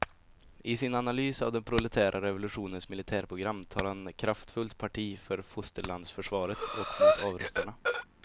I sin analys av den proletära revolutionens militärprogram tar han kraftfullt parti för fosterlandsförsvaret och mot avrustarna.